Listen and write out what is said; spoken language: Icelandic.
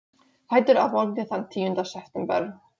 Fæddur að morgni þann tíunda september.